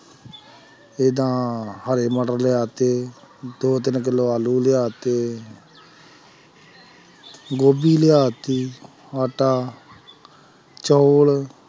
ਜਿੱਦਾਂ ਹਰੇ ਮਟਰ ਲਿਆ ਦਿੱਤੇ ਦੋ ਤਿੰਨ ਕਿੱਲੋ ਆਲੂ ਲਿਆ ਦਿੱਤੇ ਗੋਭੀ ਲਿਆ ਦਿੱਤੀ ਆਟਾ ਚੌਲ